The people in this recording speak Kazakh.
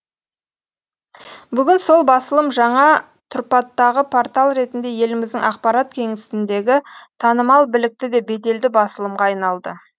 бүгін сол басылым жаңа тұрпаттағы портал ретінде еліміздің ақпарат кеңістігіндегі танымал білікті де беделді басылымға айналады